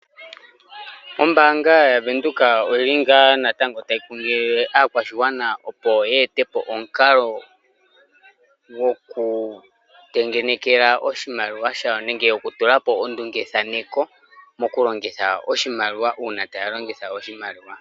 Ombaanga yaVenduka oyili ngaa natango tayi kunkilile aakwashigwana opo yeetepo omukalo gokutengenekela oshimaliwa shawo nenge okutula po ondunge thaneko mokulongitha oshimaliwa uuna tayalongitha oshimaliwa.